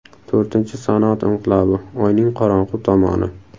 To‘rtinchi sanoat inqilobi: Oyning qorong‘u tomoni.